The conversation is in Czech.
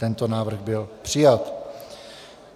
Tento návrh byl přijat.